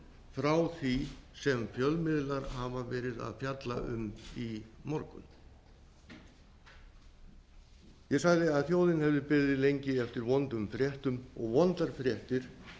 frá því sem fjölmiðlar hafa verið að fjalla um í morgun ég sagði að þjóðin hefði beðið lengi eftir vondum fréttum og vondar fréttir